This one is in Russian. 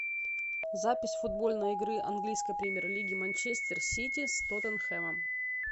запись футбольной игры английской премьер лиги манчестер сити с тоттенхэмом